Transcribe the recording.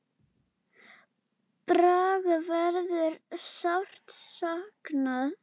Braga verður sárt saknað.